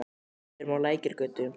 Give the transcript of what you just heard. Við erum á Lækjargötu.